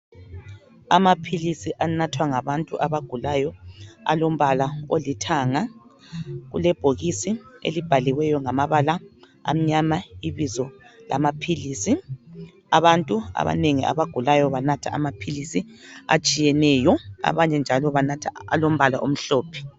Amaphilisi anathwa ngabantu abagulayo alombala olithanga ,kulebhokisi elibhalwe ngamabala amnyama ibizo lamaphilisi abantu abanengi abagulayo banatha amaphilisi atshiyeneyo abanye njalo banatha alombala omhlophe.